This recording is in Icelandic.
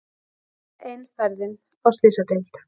Enn ein ferðin á Slysadeild.